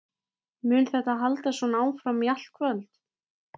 Mun þetta halda svona áfram í allt kvöld?